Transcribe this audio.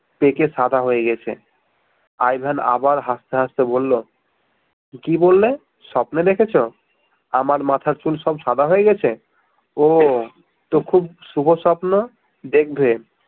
পেকে সাদা হয়ে গেছে আই ভেন আবার হাসতে হাসতে বলল কি বললে স্বপ্নে দেখেছ আমার মাথার চুল সব সাদা হয়ে গেছে উহ তো খুব শুভ স্বপ্ন দেখবে